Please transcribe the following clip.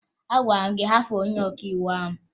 Agwara m gị hapụ onye ọkàiwu ahụ!